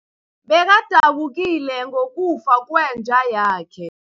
Bekadabukile ngokufa kwenja yakhe.